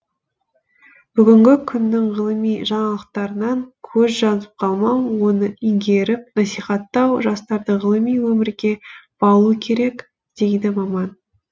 бүгінгі күннің ғылыми жаңалықтарынан көз жазып қалмау оны игеріп насихаттау жастарды ғылыми өмірге баулу керек дейді маман